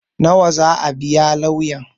Nawa zaa biya lauyan?